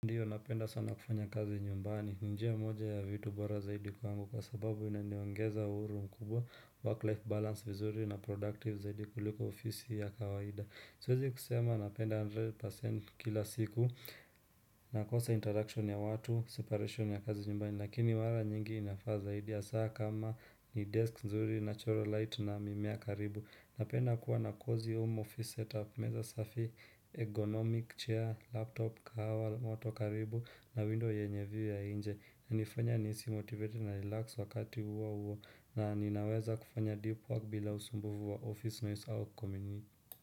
Ndio napenda sana kufanya kazi nyumbani, njia moja ya vitu bora zaidi kwangu kwa sababu inaniongeza uhuru mkubwa, work life balance vizuri na productive zaidi kuliko ofisi ya kawaida. Siwezi kusema napenda 100% kila siku, nakosa interaction ya watu, separation ya kazi nyumbani, lakini mara nyingi inafaa zaidi ya saa kama ni desk nzuri, natural light na mimea karibu. Napenda kuwa na cozy home office setup, meza safi, ergonomic chair, laptop, kahawa, moto karibu na window yenye view ya nje. Hunifanya nihisi motivated na relaxed wakati huohuo na ninaweza kufanya deep work bila usumbufu wa office noise au community.